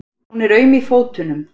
Hún er aum í fótunum.